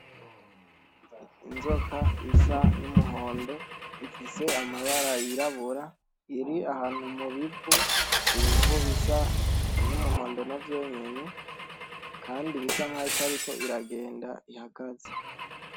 Inzoka isa n’umuhondo ifise amabara yirabura , iri ahantu mu bivu , ibivu bisa n’umuhondo navyo nyene kandi isa nkaho itariko iragenda ihagaze.